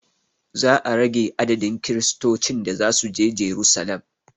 Za a rage adadin kiristocin da zasuje jerusalem